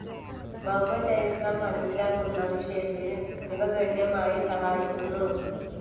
ഭൌമചരിത്രം മനസ്സിലാക്കുന്നവിഷയത്തിൽ ഇവ ഗണ്യമായി സഹായിക്കുന്നു.